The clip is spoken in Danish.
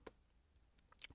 DR2